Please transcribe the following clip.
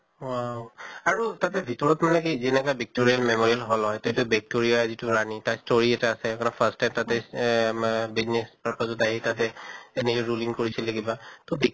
wow! আৰু তাতে ভিতৰত মানে কি যেনেকা ভিক্টোৰিয়া memorial hall হয় তʼ এটো victory যিতো ৰেণী তাৰ story এটা আছে first step তাতে এহ মা business purpose ত আহি তাতে ruling কৰিছিলে কিবা, তʼ